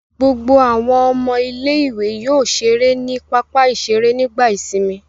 Gbogbo àwọn ọmọ ilé-ìwé yóò ṣeré ní pápá-ìṣeré nígbà ìsìnmi.